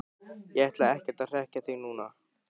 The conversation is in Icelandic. Ég ætla ekkert að hrekkja þig núna,